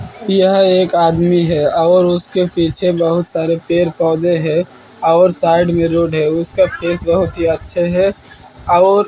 यह एक आदमी है और उसके पीछे बहुत सारे पेड़ पौधे हैं और साइड में रोड है उसका फेस बहोत ही अच्छा है और--